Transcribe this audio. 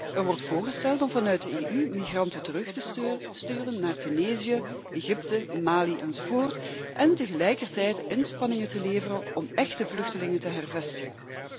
Er wordt voorgesteld om vanuit de EU migranten terug te sturen naar Tunesië, Egypte, Mali, enzovoort, en tegelijkertijd inspanningen te leveren om echte vluchtelingen te hervestigen.